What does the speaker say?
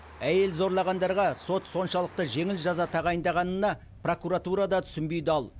әйел зорлағандарға сот соншалықты жеңіл жаза тағайындағанына прокуратура да түсінбей дал